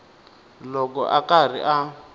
loko a ri karhi a